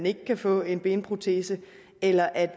ikke kan få en protese eller at